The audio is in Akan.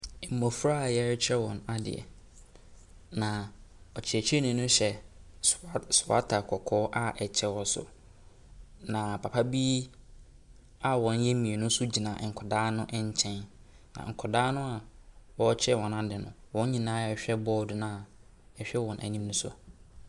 Mmɔfra a wɔrekyerɛ wɔn adeɛ, na ɔkyerɛkyerɛni no hyɛ soa soata kɔkɔɔ a kyɛ wɔ so, na papa bi a wɔyɛ mmienu nso gyina nkwadaa no nkyɛn, na nkwadaa no a wɔrekyerɛ wɔn ade no, wɔn nyinaa rehwɛ bɔɔdo no a ɛhwɛ wɔn anim no so.